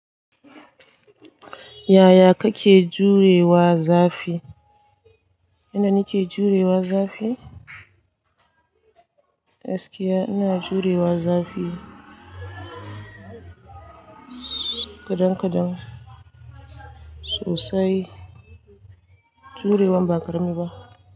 Ya ya ka ke juyewa zafi? Ina nike jurewa zafi? Gaskiya jurewa zafi kadan-kadan, sosai. Jurewan ba ƙarami ba.